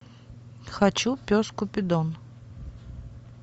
хочу пес купидон